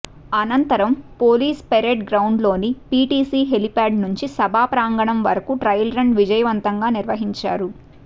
అనంతరం police parade గ్రౌండ్లోని PTC helipad నుంచి సభా ప్రాంగణం వరకు ట్రయల్ రన్ విజయవంతంగా నిర్వహించారు